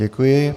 Děkuji.